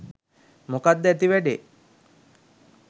මොකක්ද ඇති වැඩේ?